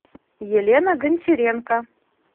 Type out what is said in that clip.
елена гончаренко